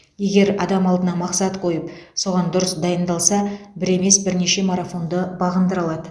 егер адам алдына мақсат қойып соған дұрыс дайындалса бір емес бірнеше марафонды бағындыра алады